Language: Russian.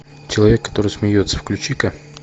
человек который смеется включи ка